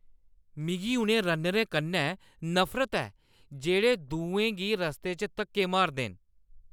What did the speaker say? मिगी उ'नें रन्नरें कन्नै नफरत ऐ जेह्ड़े दुएं गी रस्ते च धक्के मारदे न।